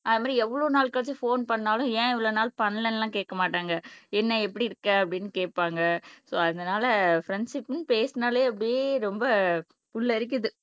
அதுமாதிரி எவ்வளவு நாள் கழிச்சு போன் பண்ணாலும் ஏன் இவ்வளவு நாள் பண்ணலைன்னு எல்லாம் கேட்கமாட்டாங்க என்ன எப்படி இருக்கே அப்படின்னு கேட்பாங்க சோ அதனால ஃப்ரண்ட்ஷிப்புன்னு பேசினாலே அப்படியே ரொம்ப புல்லரிக்குது